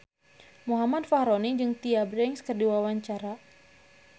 Muhammad Fachroni jeung Tyra Banks keur dipoto ku wartawan